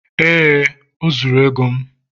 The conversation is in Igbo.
ee oh, o zuru ego m